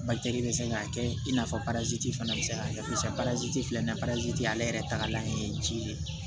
bɛ se k'a kɛ i n'a fɔ baraji fana bɛ se ka kɛ barazi filɛ nin ye paraziti ale yɛrɛ tagalan ye ji de ye